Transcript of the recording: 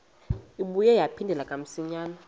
ibuye yaphindela kamsinya